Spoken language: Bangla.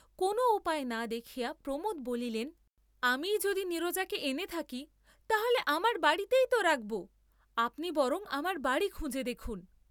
কোন উপায় না দেখিয়া প্রমোদ বলিলেন আমিই যদি নীরজাকে এনে থাকি তাহলে আমার বাড়ীতেই ত রাখব, আপনি বরং আমার বাড়ী খুঁজে দেখুন।